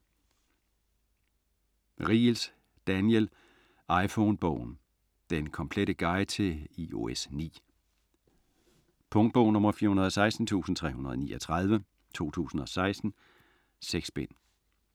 Riegels, Daniel: iPhone-bogen: den komplette guide til iOS 9 Punktbog 416339 2016. 6 bind.